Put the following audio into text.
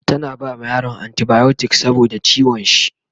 tana bama yaron anti biotics saboda ciwon shi